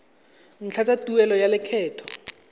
ntlha tsa tuelo ya lekgetho